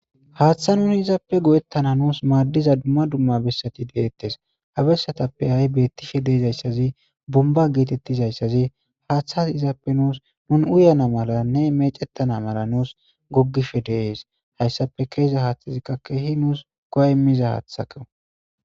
Haaththa nuni izaappe go7ettana nuus maaddiza dumma dumma bessati de7ettees. Ha bessatappe ha7i beettishe de7izayssazi bumba geetettizayssazi haaththazi izappe nuus nun uyana malanne meecettana mala nuus goggishe de7ees. Hayssappe ke7iza haaththazikka keehi nuus go7a immiza haathako.